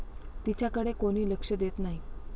तिच्याकडे कोणी लक्ष देत नाही.